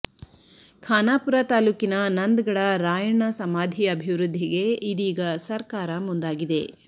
ಖಾನಾಪುರ ತಾಲೂಕಿನ ನಂದಗಡ ರಾಯಣ್ಣ ಸಮಾಧಿ ಅಭಿವೃದ್ಧಿಗೆ ಇದೀಗ ಸರ್ಕಾರ ಮುಂದಾಗಿದೆ